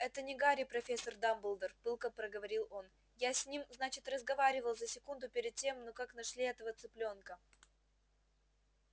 это не гарри профессор дамблдор пылко проговорил он я с ним значит разговаривал за секунду перед тем ну как нашли этого цыплёнка